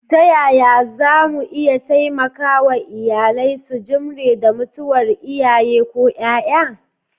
Ta yaya za mu iya taimaka wa iyalai su jimre da mutuwar iyaye ko ’ya’ya?